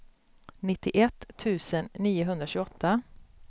nittioett tusen niohundratjugoåtta